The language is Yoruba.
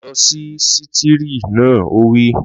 Lọ sí sítììrì naa! Ó wí